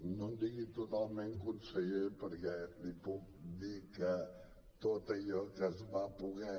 no em digui totalment conseller perquè li puc dir que tot allò que es va poder